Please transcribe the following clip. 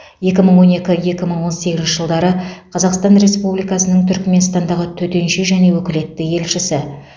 екі мың он екі екі мың он сегізінші жылдары қазақстан республикасының түрікменстандағы төтенше және өкілетті елшісі